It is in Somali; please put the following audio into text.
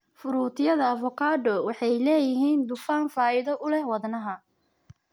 Fruityada avokado waxay leeyihiin dufan faa'iido u leh wadnaha.